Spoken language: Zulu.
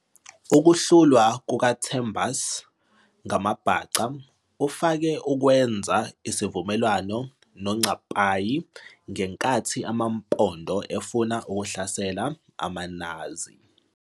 Ukuhlulwa kukaThembus ngamaBhaca, uFaku ukwenza isivumelwano noNcapayi ngenkathi amaMpondo efuna ukuhlasela amaNazi.